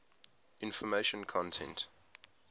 information content